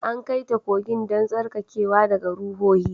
An kai ta kogin don tsarkakewa daga ruhohi